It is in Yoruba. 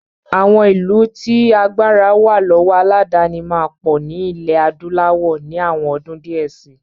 Àwọn ìlú tí agbára wà lọ́wọ́ aládàáni máa pọ̀ ní ilẹ̀ adúláwọ̀ ní àwọn ọdún díẹ̀ si.